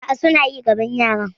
A'a, suna yi gabon yaran.